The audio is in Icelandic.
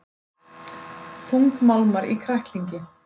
Þungmálmar í kræklingi